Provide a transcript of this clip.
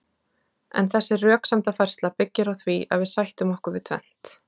en þessi röksemdafærsla byggir á því að við sættum okkur við tvennt